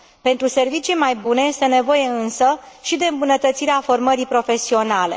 Pentru servicii mai bune este nevoie, însă, și de îmbunătățirea formării profesionale.